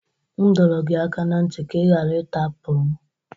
M dọrọ gị aka ná ntị ka ị ghara ita apụl m!